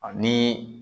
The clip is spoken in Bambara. Ani